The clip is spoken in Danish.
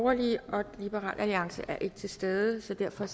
og liberal alliance er ikke til stede så derfor